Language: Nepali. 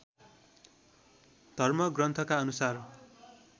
धर्म ग्रन्थका अनुसार